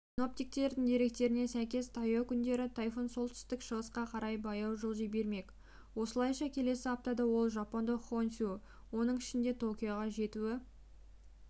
синоптиктердің деректеріне сәйкес таяу күндері тайфун солтүстік-шығысқа қарай баяу жылжи бермек осылайша келесі аптада ол жапондық хонсю оның ішінде токиоға жетуі